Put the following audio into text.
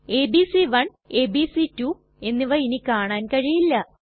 ABC one ABC two എന്നിവ ഇനി കാണാൻ കഴിയില്ല